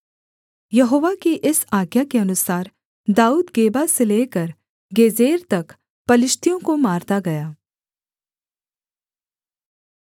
यहोवा की इस आज्ञा के अनुसार दाऊद गेबा से लेकर गेजेर तक पलिश्तियों को मारता गया